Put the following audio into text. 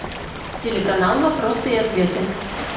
телеканал вопросы и ответы